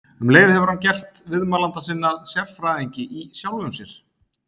Um leið hefur hann gert viðmælanda sinn að sérfræðingi- í sjálfum sér.